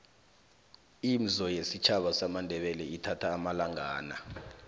imzo yesitjhaba samandebele ithatha amalangana